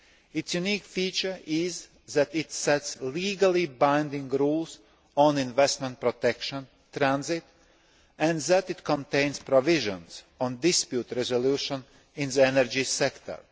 Its unique feature is that it sets legally binding rules on investment protection transit and that it contains provisions on dispute resolution in the energy sector.